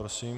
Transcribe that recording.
Prosím.